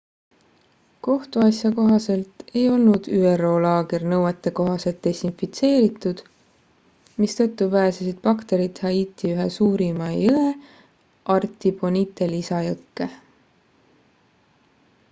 kohtuasja kohaselt ei olnud üro laager nõuetekohaselt desinfitseeritud mistõttu pääsesid bakterid haiti ühe suurema jõe artibonite lisajõkke